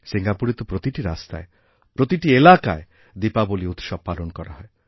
সিঙ্গাপুরে তো প্রতিটি রাস্তায় প্রতিটি এলাকায় দীপাবলী উৎসব পালন করা হয়